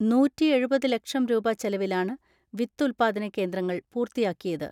നൂറ്റിഎഴുപത് ലക്ഷം രൂപ ചെലവിലാണ് വിത്ത് ഉല്പാദന കേന്ദ്രങ്ങൾ പൂർത്തിയാക്കിയത്.